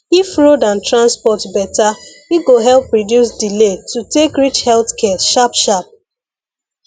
if road and transport better e go help reduce delay to take reach health care sharp sharp